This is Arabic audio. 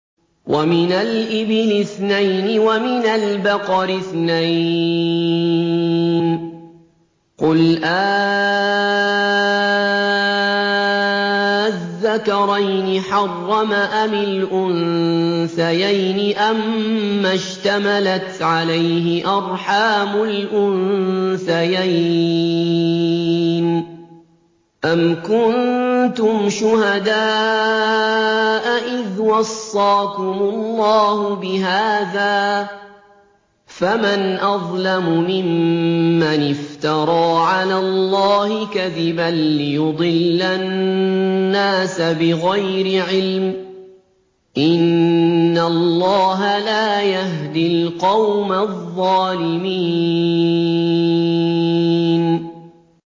وَمِنَ الْإِبِلِ اثْنَيْنِ وَمِنَ الْبَقَرِ اثْنَيْنِ ۗ قُلْ آلذَّكَرَيْنِ حَرَّمَ أَمِ الْأُنثَيَيْنِ أَمَّا اشْتَمَلَتْ عَلَيْهِ أَرْحَامُ الْأُنثَيَيْنِ ۖ أَمْ كُنتُمْ شُهَدَاءَ إِذْ وَصَّاكُمُ اللَّهُ بِهَٰذَا ۚ فَمَنْ أَظْلَمُ مِمَّنِ افْتَرَىٰ عَلَى اللَّهِ كَذِبًا لِّيُضِلَّ النَّاسَ بِغَيْرِ عِلْمٍ ۗ إِنَّ اللَّهَ لَا يَهْدِي الْقَوْمَ الظَّالِمِينَ